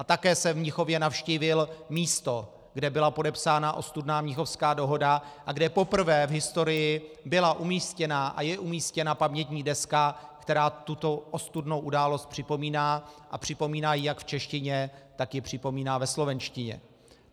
A také jsem v Mnichově navštívil místo, kde byla podepsána ostudná Mnichovská dohoda a kde poprvé v historii byla umístěna a je umístěna pamětní deska, která tuto ostudnou událost připomíná, a připomíná ji jak v češtině, tak ji připomíná ve slovenštině.